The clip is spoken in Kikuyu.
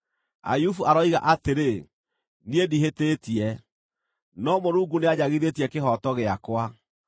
“Ayubu aroiga atĩrĩ, ‘Niĩ ndihĩtĩtie, no Mũrungu nĩanjagithĩtie kĩhooto gĩakwa.